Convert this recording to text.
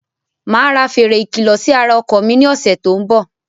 Máa ra fèrè ikilọ sì ara ọkọ̀ mi ni ọ̀sẹ̀ tòun bọ̀.